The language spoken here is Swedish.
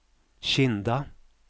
Kinda